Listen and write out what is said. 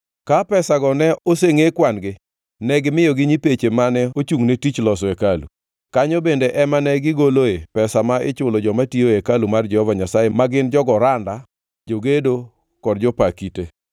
Ka pesago ne osengʼe kwan-gi, ne gimiyogi nyipeche mane ochungʼ ne tich loso hekalu. Kanyo bende ema ne gigoloe pesa ma ichulo joma tiyo ei hekalu mar Jehova Nyasaye ma gin jogo randa, jogedo kod jopa kite.